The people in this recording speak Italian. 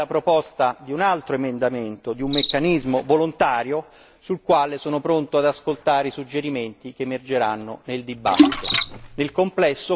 Possiamo valutare la proposta di un altro emendamento, di un meccanismo volontario sul quale sono pronto ad ascoltare i suggerimenti che emergeranno nel dibattito.